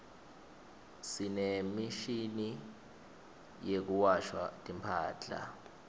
sinemishini yekuwasha timphadla